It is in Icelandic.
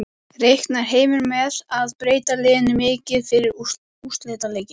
Reiknar Heimir með að breyta liðinu mikið fyrir úrslitaleikinn?